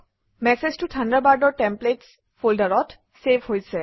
মেচেজটো থাণ্ডাৰবাৰ্ডৰ টেমপ্লেটছ ফল্ডাৰত চেভ হৈছে